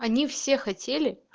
они все